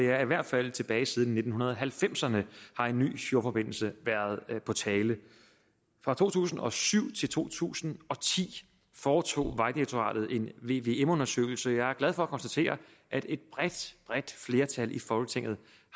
er at i hvert fald tilbage siden nitten halvfemserne har en ny fjordforbindelse været på tale fra to tusind og syv til to tusind og ti foretog vejdirektoratet en vvm undersøgelse jeg er glad for at konstatere at et bredt bredt flertal i folketinget